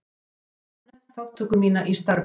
Ég hef áður nefnt þátttöku mína í starfi